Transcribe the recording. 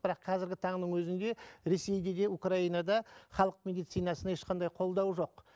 бірақ қазіргі таңның өзінде ресейде де украинада халық медицинасына ешқандай қолдау жоқ